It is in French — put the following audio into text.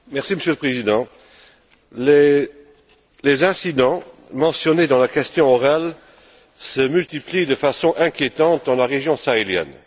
Monsieur le Président, les incidents mentionnés dans la question orale se multiplient de façon inquiétante dans la région sahélienne.